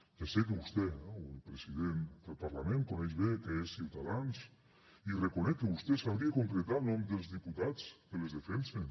ja sé que vostè eh o el president del parlament coneix bé què és ciutadans i reconec que vostè sabria concretar el nom dels diputats que les defensen